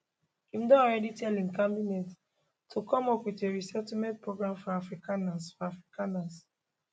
im don already tell im cabinet to come up wit a resettlement program for afrikaners for afrikaners